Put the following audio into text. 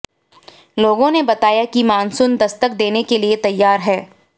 लोगों ने बताया कि मानसून दस्तक देने के लिए तैयार है